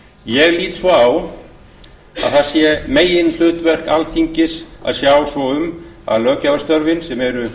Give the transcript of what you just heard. ég lít svo á að það sé meginhlutverk forseta alþingis að sjá svo um að löggjafarstörfin sem eru